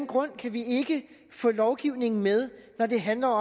grund kan vi ikke få lovgivningen med når det handler